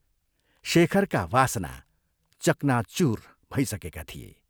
शेखरका वासना चकनाचूर भइसकेका थिए।